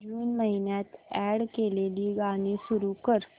जून महिन्यात अॅड केलेली गाणी सुरू कर